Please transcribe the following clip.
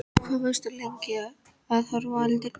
Og hvað, varstu lengi að horfa á eldinn?